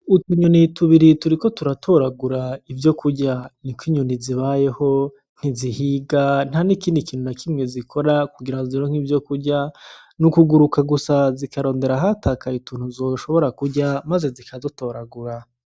Utunyoni tubiri turiko turatoragura ivyokurya. Ni uko inyoni zibayeho, ntizihiga ntan'ikindi kintu na kimwe zikora kugira zironke ivyokurya, ni ukuguruka gusa zikarondera ahatakaye utuntu zoshobora kurya, maze zikadutoragura.